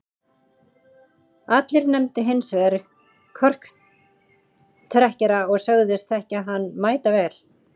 Allir nefndu hins vegar korktrekkjara og sögðust þekkja hann mætavel.